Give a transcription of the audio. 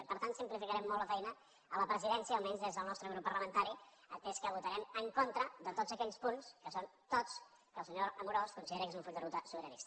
i per tant simplificarem molt la feina a la presidència almenys des del nostre grup parlamentari atès que votarem en contra de tots aquells punts que són tots que el senyor amorós considera que són un full de ruta sobiranista